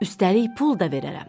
Üstəlik pul da verərəm.